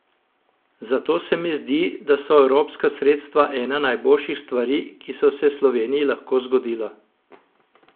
Zato se mi zdi, da so evropska sredstva ena najboljših stvari, ki so se Sloveniji lahko zgodila.